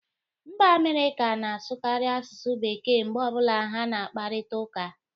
Mba Amerịka na asụkari asụsụ bekee mgbe ọbụla ha na akparita ụka